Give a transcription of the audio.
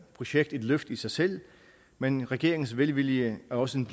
projekt et løft i sig selv men regeringens velvilje er også en